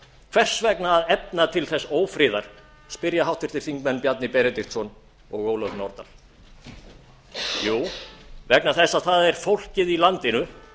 hvers vegna að efna til þess ófriðar spyrja háttvirtir þingmenn bjarni benediktsson og ólöf nordal jú vegna þess að það er fólkið í landinu